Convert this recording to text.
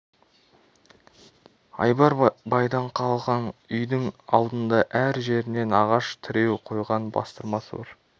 айбар байдан қалған үйдің алдында әр жерінен ағаш тіреу қойған бастырмасы бар